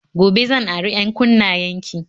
Gobe zan ari 'yankunnayen ki